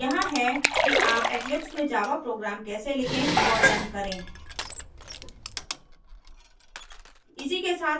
यहाँ हैं कि आप eclipse में java program कैसे लिखें और रन करें